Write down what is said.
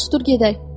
Yaxşı, dur gedək.